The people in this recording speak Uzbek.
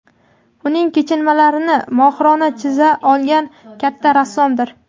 uning kechinmalarini mohirona chiza olgan katta rassomdir.